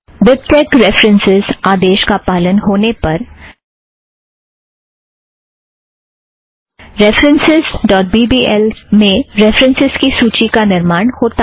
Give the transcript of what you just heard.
BibTeX dot references आदेश का पालन होने पर references dot B B L में रेफ़रन्स की सूची का निर्माण होता है